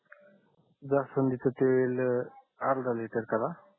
जास्वंदीच तेल अर्धा लीटर करा